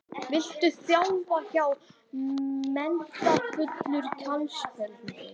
Viltu þjálfa hjá metnaðarfullri knattspyrnudeild?